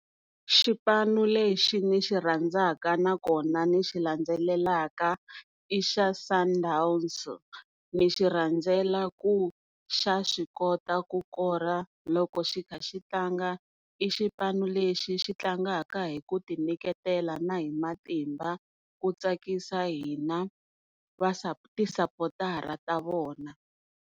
Xipanu lexi ni xi rhandzaka nakona ni xi landzelelaka i xa Sundowns, ni xi rhandzela ku xa swi kota ku kora loko xi kha xi tlanga, i xipano lexi xi tlangaka hi ku ti nyiketela na hi matimba ku tsakisa hina ti support-ara ta vona.